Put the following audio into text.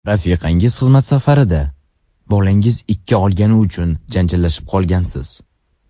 Rafiqangiz xizmat safarida, bolangiz ikki olgani uchun janjallashib qolgansiz.